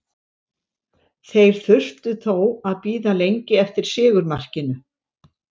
Þeir þurftu þó að bíða lengi eftir sigurmarkinu.